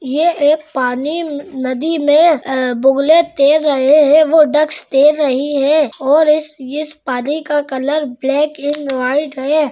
ये एक पानी नदी मे बुगले तैर रहे है वो डक्कस तैर रही है और इस इस पानी का कलर ब्लैक एण्ड व्हाइट है।